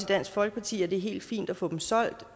dansk folkeparti at det er helt fint at få dem solgt